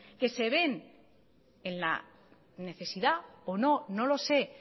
que se ven en la necesidad o no no lo sé